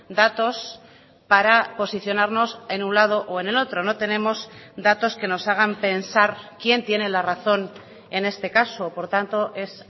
datos para posicionarnos en un lado o en el otro no tenemos datos que nos hagan pensar quién tiene la razón en este caso por tanto es